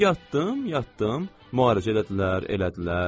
Yatdım, yatdım, müharibə elədilər, elədilər.